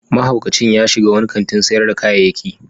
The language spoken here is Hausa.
Mahaukacin ya shiga wani kantin sayar da kayayyaki.